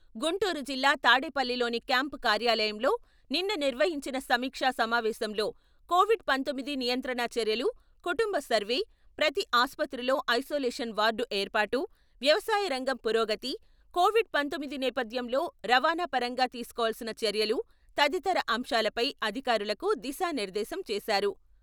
గుంటూరు జిల్లా తాడేపల్లిలోని క్యాంపు కార్యాలయంలో నిన్న నిర్వహించిన సమీక్షా సమావేశంలో కొవిడ్ పంతొమ్మిది నియంత్రణా చర్యలు, కుటుంబ సర్వే, ప్రతి ఆసుపత్రిలో ఐసోలేషన్ వార్డు ఏర్పాటు, వ్యవసాయ రంగం పురోగతి, కోవిడ్ పంతొమ్మిది నేపథ్యంలో రవాణా పరంగా తీసుకోవలసిన చర్యలు తదితర అంశాలపై అధికారులకు దిశానిర్దేశం చేశారు.